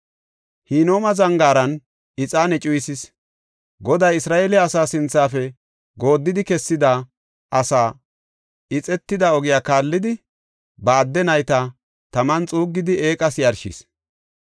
Hinooma Zangaaran ixaane cuyisis; Goday Isra7eele asaa sinthafe gooddidi kessida asaa, ixetida ogiya kaallidi ba adde nayta taman xuuggidi eeqas yarshis.